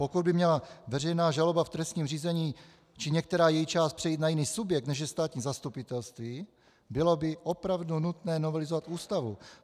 Pokud by měla veřejná žaloba v trestním řízení či některá její část přejít na jiný subjekt, než je státní zastupitelství, bylo by opravdu nutné novelizovat Ústavu.